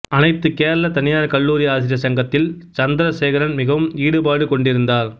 அனைத்து கேரள தனியார் கல்லூரி ஆசிரியர் சங்கத்தில் சந்திரசேகரன் மிகவும் ஈடுபாடு கொண்டிருந்தார்